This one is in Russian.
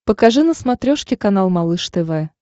покажи на смотрешке канал малыш тв